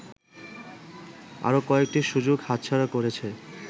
আরো কয়েকটি সুযোগ হাতছাড়া করেছে